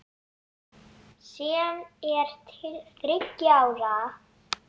sem er til þriggja ára.